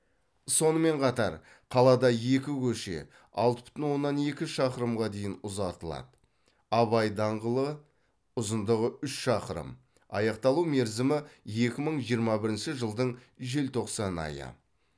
сонымен қатар қалада екі көше алты бүтін оннан екі шақырымға дейін ұзартылады абай даңғылы ұзындығы үш шақырым аяқталу мерзімі екі мың жиырма бірінші жылдың желтоқсан айы